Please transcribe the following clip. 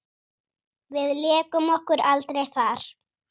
Við lékum okkur aldrei þar.